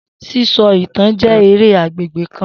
Sisọ itan jẹ ere agbegbe kan.